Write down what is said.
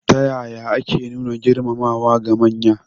Ta ya ake nuna girmamawa ga manya?